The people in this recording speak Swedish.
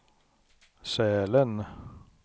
Sälen